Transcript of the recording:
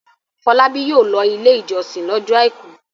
Fọlábí yóò lọ Ilé-ìjọsìn lọ́jọ́ àìkú.